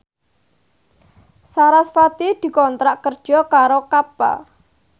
sarasvati dikontrak kerja karo Kappa